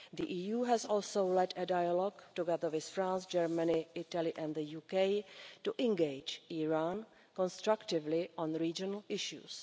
The EU has also led a dialogue together with France, Germany, Italy and the UK to engage Iran constructively on regional issues.